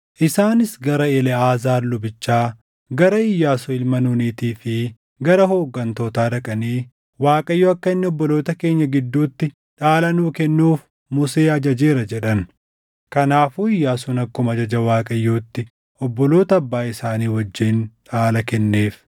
Isaanis gara Eleʼaazaar lubichaa, gara Iyyaasuu ilma Nuunitii fi gara hooggantootaa dhaqanii “ Waaqayyo akka inni obboloota keenya gidduutti dhaala nuu kennuuf Musee ajajeera” jedhan. Kanaafuu Iyyaasuun akkuma ajaja Waaqayyootti obboloota abbaa isaanii wajjin dhaala kenneef.